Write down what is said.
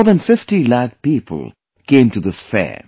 More than 50 lakh people came to this fair